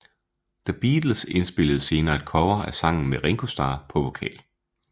The Beatles indspillede senere et cover af sangen med Ringo Starr på vokal